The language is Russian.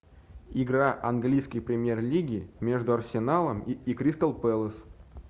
игра английской премьер лиги между арсеналом и кристал пэлас